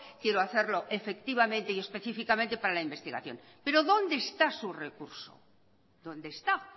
quiero hacerlo efectivamente y específicamente para la investigación pero dónde está su recurso dónde está